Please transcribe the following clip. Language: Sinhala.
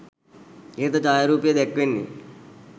ඉහත ඡායාරූපයේ දැක්වෙන්නේ